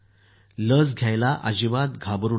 लस घ्यायला अजिबात घाबरू नका